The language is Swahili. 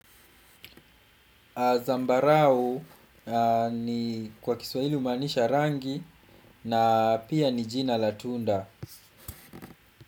Zambarau ni kwa kiswaili humaanisha rangi na pia ni jina la tunda.